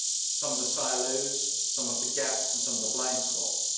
some of the silos, some of the gaps and some of the blind spots.